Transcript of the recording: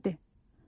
Səhərdir.